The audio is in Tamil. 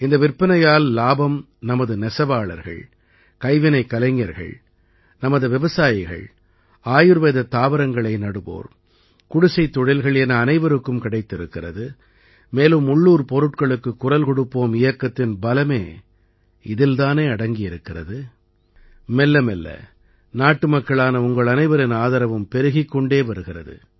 இந்த விற்பனையால் இலாபம் நமது நெசவாளர்கள் கைவினைக் கலைஞர்கள் நமது விவசாயிகள் ஆயுர்வேதத் தாவரங்களை நடுவோர் குடிசைத் தொழில்கள் என அனைவருக்கும் கிடைத்திருக்கிறது மேலும் உள்ளூர் பொருட்களுக்குக் குரல் கொடுப்போம் இயக்கத்தின் பலமே இதில் தானே அடங்கியிருக்கிறது மெல்லமெல்ல நாட்டுமக்களான உங்களனைவரின் ஆதரவும் பெருகிக் கொண்டே வருகிறது